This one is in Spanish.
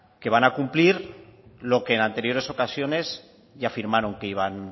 que van a cumplir lo que en anteriores ocasiones ya firmaron que iban